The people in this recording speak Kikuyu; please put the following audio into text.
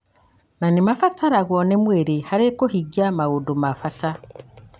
na nĩ mabataragwo nĩ mwĩrĩ harĩ kũhingia maũndũ ma bata.